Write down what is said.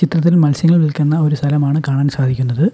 ചിത്രത്തിൽ മത്സ്യങ്ങൾ വിൽക്കുന്ന ഒരു സ്ഥലമാണ് കാണാൻ സാധിക്കുന്നത്.